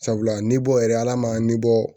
Sabula ni bɔ yɛrɛ ala ma nibɔ